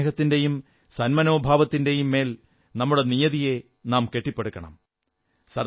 പരസ്പരസ്നേഹത്തിന്റെയും സന്മനോഭാവത്തിന്റെയും മേൽ നമ്മുടെ നിയതിയെ നാം കെട്ടിപ്പടുക്കണം